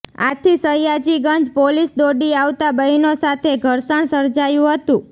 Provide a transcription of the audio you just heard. આથી સયાજીગંજ પોલીસ દોડી આવતા બહેનો સાથે ઘર્ષણ સર્જાયું હતું